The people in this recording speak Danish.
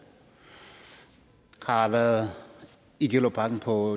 og har været i gellerupparken på